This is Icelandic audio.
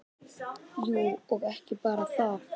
Jú, og ekki bara það.